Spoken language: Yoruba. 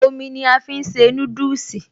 Omi ni a fi ń se núdùsì